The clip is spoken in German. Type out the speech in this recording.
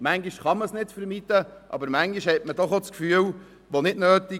Manchmal lassen sich diese vermeiden, aber manchmal hat man doch das Gefühl, diese wären nicht nötig.